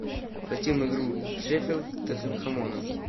хотим игру шеффилд с тоттенхэмом